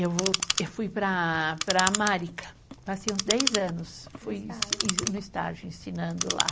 Eu vol.., Eu fui para a Marica. passei uns dez anos no estágio, ensinando lá.